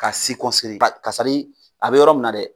Ka ba a bɛ yɔrɔ min na dɛ.